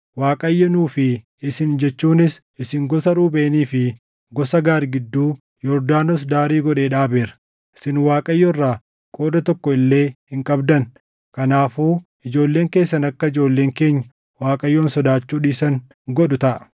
Waaqayyo nuu fi isin jechuunis isin gosa Ruubeenii fi gosa Gaad gidduu Yordaanos daarii godhee dhaabeera! Isin Waaqayyo irraa qooda tokko illee hin qabdan.’ Kanaafuu ijoolleen keessan akka ijoolleen keenya Waaqayyoon sodaachuu dhiisan godhu taʼa.